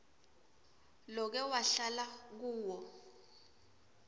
loke wahlala kuwo